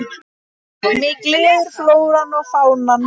Mig gleður flóran og fánan.